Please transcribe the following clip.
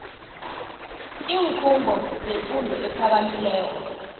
iinkhungo zefundo ephakamileko